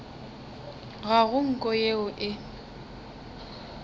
ga go nko yeo e